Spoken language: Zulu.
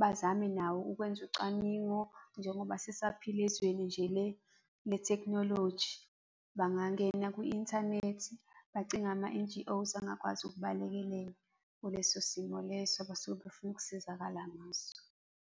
bazame nawo ukwenza ucwaningo njengoba sisaphila ezweni nje le-technology, bangangena kwi-inthanethi bacinge ama-N_G_Os angakwazi ukubalekelela kuleso simo leso abasuke befuna ukusizakala ngaso.